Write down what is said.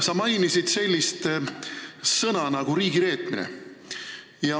Sa mainisid ka sellist sõna nagu "riigireetmine".